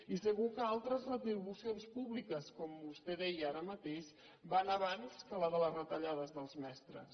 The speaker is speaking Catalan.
i segur que altres retribucions públiques com vostè deia ara mateix van abans que la de les retallades dels mestres